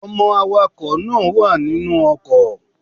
Ọmọ awakọ̀ náà wà nínú ọkọ̀.